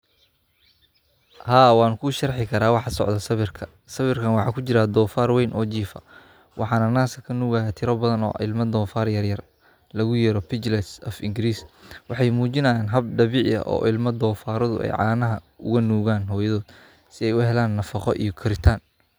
Haa, waan ku sharixi karaa. Waxa sawirka ku jira dhufaar weyn oo jiifa, waxaana naaska ka nuugaya dhufaar yaryar (piglets). Waxay muujinayaan hab dabiici ah oo ilmaha dhufaaruhu canaha uga nuugayaan hooyadood si ay u helaan nafaqo iyo koritaan.